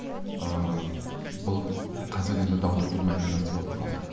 ыыы бұл қазір енді дау тудырмайтын нәрсе болып қалды